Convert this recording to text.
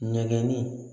Nɛgɛnni